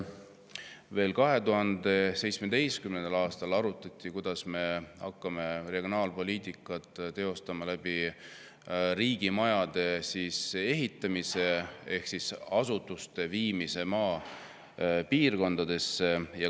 Veel 2017. aastal arutati, kuidas me hakkame regionaalpoliitikat teostama riigimajade ehitamise abil, viies asutusi ka maapiirkondadesse.